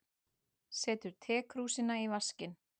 Setur tekrúsina í vaskinn.